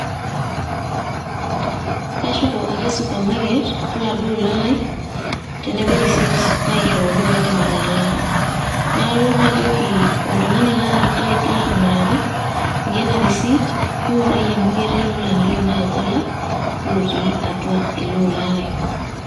Kashuko ake supermarket oladuo ola lai, tenebo o risiit naishooki paidip atalaa. Nalo najoki oltung'ani latimiraka, inko ena risiit, ng'urai amu ketii ilolan leitu nai alak lotii atua ele ola lai.